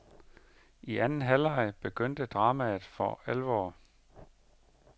I anden halvleg begyndte dramaet for alvor.